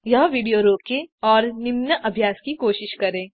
यहाँ विडियो रोकें निम्न अभ्यास की कोशिश करें